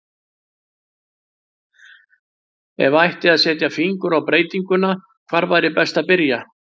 Ef ætti að setja fingur á breytinguna, hvar væri best að byrja?